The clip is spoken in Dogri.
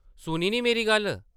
सुनी निं मेरी गल्ल?